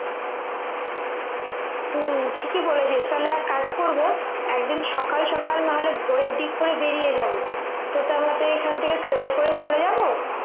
হম ঠিকই বলেছিস তাহলে এক কাজ করবো একদিন সকাল সকাল না হলে ভোরের দিক করে বেরিয়ে যাব তোকে আমাকে এখন থেকে train এ করে চলে যাব